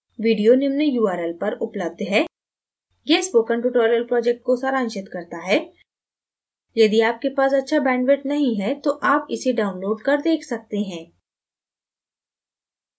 video निम्न url पर उपलब्ध है: